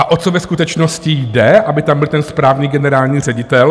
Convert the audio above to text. A o co ve skutečnosti jde, aby tam byl ten správný generální ředitel?